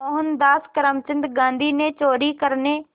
मोहनदास करमचंद गांधी ने चोरी करने